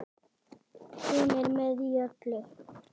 Hún er með í öllu